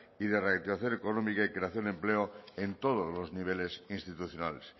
y de reactivación económica y creación de empleo en todos los niveles institucionales